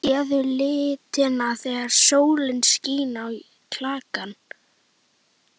Sérðu litina þegar sólin skín á klakann?